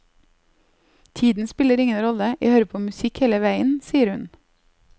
Tiden spiller ingen rolle, jeg hører på musikk hele veien, sier hun.